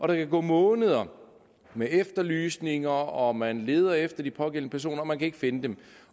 der gå måneder med efterlysninger og man leder efter de pågældende personer man kan ikke finde dem